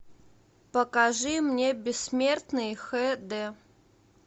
покажи мне бессмертный хэ дэ